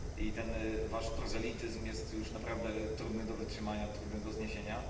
I ten wasz prozelityzm jest już naprawdę trudny do wytrzymania, trudny do zniesienia.